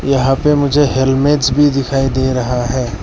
यहां पे मुझे हेलमेट भी दिखाई दे रहा है।